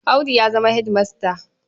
Audu ya zama hedimasta.